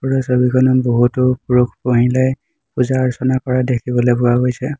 ওপৰৰ ছবিখনত বহুতো পুৰুষ মহিলাই পূজা অৰ্চনা কৰা দেখিবলৈ পোৱা গৈছে।